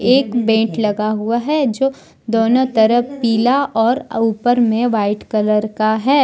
एक बेंट लगा हुआ है जो दोनो तरफ पीला और ऊपर मे वाइट कलर का है।